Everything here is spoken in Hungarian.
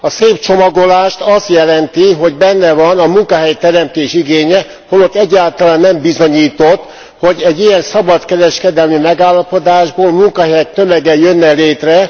A szép csomagolást azt jelenti, hogy benne van a munkahelyteremtés igénye, holott egyáltalán nem bizonyított, hogy egy ilyen szabadkereskedelmi megállapodásból munkahelyek tömege jönne létre.